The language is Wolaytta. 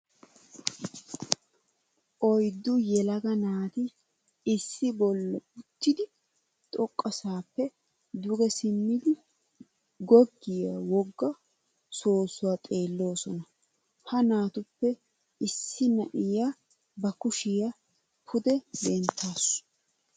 Oyddu yelaga naati issi bolla uttiddi xoqassappe duge simiddi goggiya wogga soosuwa xeelosonna. Ha naatuppe issi na'iya ba kushiya pude denttassu.